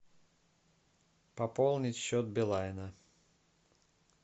пополнить счет билайна